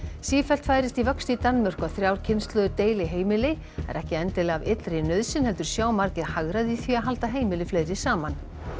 sífellt færist í vöxt í Danmörku að þrjár kynslóðir deili heimili það er ekki endilega af illri nauðsyn heldur sjá margir hagræði í því að halda heimili fleiri saman